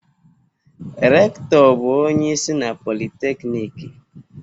Rekụtọ bụ onye isi na Politekiniiki.